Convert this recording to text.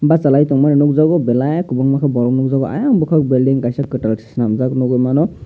basalai tongmani nogjago belai kobangma ke borok nogjago ayang bokan belding kaisa ketal chelamjak nogoi mano.